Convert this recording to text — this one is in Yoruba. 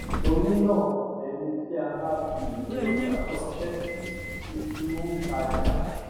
torí náà ẹni tí a bá fi ìwé ọjà ránṣẹ sí ti di òǹtajà